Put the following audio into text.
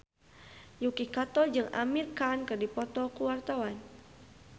Yuki Kato jeung Amir Khan keur dipoto ku wartawan